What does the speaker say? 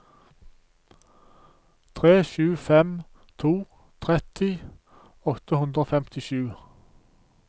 tre sju fem to tretti åtte hundre og femtisju